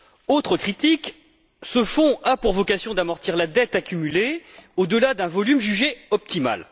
Autre critique ce fonds a pour vocation d'amortir la dette accumulée au delà d'un volume jugé optimal.